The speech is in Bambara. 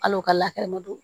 Hali o ka latigɛ ma don